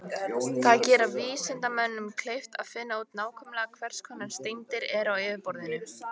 Það gerir vísindamönnum kleift að finna út nákvæmlega hvers konar steindir eru á yfirborðinu.